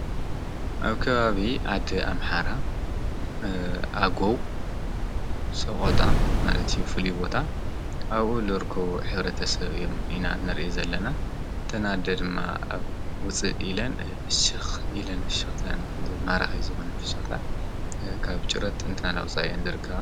ኣብ ከባቢ ዓዲ ኣምሓራ ፣ኣጎው ፣ሰቖጣ ማለት ፍሉይቦታ ኣብኡ ልርከቡ ኅብረተሰብ እዮም ኢና ንርእይ ዘለና እተን ኣደ ድማ ኣብ ውፅእ ኢለን ፍሽኽ ኢለን ፍሸኽተአን ማራኺ ዝኾነ ፍሽኽታ ካብ ጭረት እላውፅኣ እየን ዝርከባ።